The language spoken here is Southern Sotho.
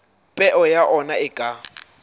peo ya ona e ka